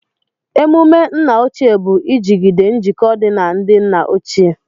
Emumé nna ochie bụ ijigide njikọ dị na ndị nna ochie